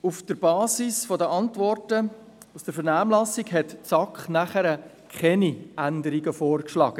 Auf der Basis der Antworten aus der Vernehmlassung schlug die SAK damals keine Änderungen vor.